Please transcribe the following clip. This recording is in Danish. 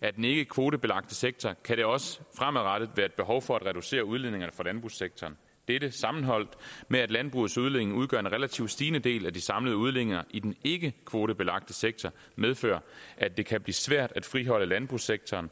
af den ikke kvotebelagte sektor kan der også fremadrettet være et behov for at reducere udledningerne fra landbrugssektoren dette sammenholdt med at landbrugets udledninger udgør en relativ stigende del af de samlede udledninger i den ikke kvotebelagte sektor medfører at det kan blive svært at friholde landbrugssektoren